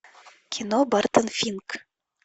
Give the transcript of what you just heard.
кино бартон финк